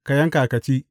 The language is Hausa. Ka yanka ka ci.’